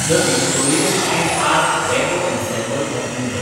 the Victorian and art deco ensemble of Mumbai